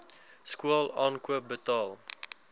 skool aankoop betaal